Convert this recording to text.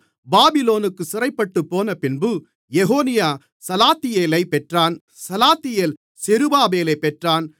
பாபிலோனுக்குச் சிறைப்பட்டுப் போனபின்பு எகொனியா சலாத்தியேலைப் பெற்றான் சலாத்தியேல் செருபாபேலைப் பெற்றான்